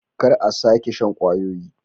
Kar a sake shan kwayoyi.